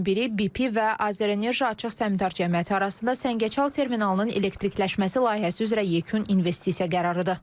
Onlardan biri BP və AzərEnerji Açıq Səhmdar Cəmiyyəti arasında Səngəçal terminalının elektrikləşməsi layihəsi üzrə yekun investisiya qərarıdır.